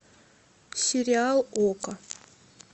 сериал окко